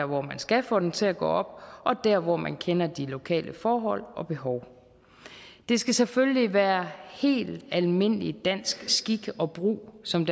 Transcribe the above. hvor man skal få den til at gå op og der hvor man kender de lokale forhold og behov det skal selvfølgelig være helt almindelig dansk skik og brug som